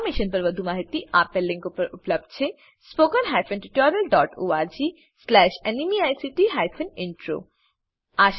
આ મિશન પર વધુ માહિતી spoken hyphen tutorial dot org slash NMEICT hyphen intro આ લીંક પર ઉપલબ્ધ છે